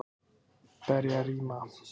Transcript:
Berjarima